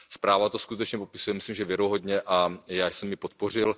Zpráva to skutečně popisuje, myslím, že věrohodně, a já jsem ji podpořil.